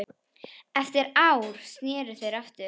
Eftir ár sneru þeir aftur.